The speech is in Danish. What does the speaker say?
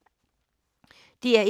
DR1